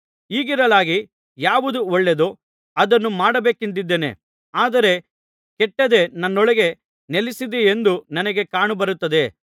ಹೀಗಿರಲಾಗಿ ಯಾವುದು ಒಳ್ಳೆಯದೋ ಅದನ್ನು ಮಾಡಬೇಕೆಂದಿದ್ದೇನೆ ಆದರೆ ಕೆಟ್ಟದ್ದೇ ನನ್ನೊಳಗೆ ನೆಲೆಸಿದೆಯೆಂದು ನನಗೆ ಕಾಣಬರುತ್ತದೆ